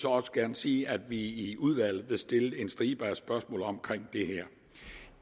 også gerne sige at vi i udvalget vil stille en stribe spørgsmål om